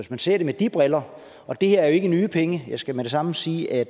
man ser det med de briller det her er ikke nye penge jeg skal med det samme sige at